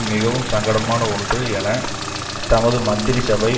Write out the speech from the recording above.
மிகவும் சங்கடமான ஒன்று என தமது மந்திரிசபை